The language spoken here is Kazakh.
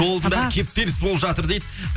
кептеліс болып жатыр дейді